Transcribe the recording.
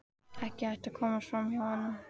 Ekki hægt að komast fram hjá honum.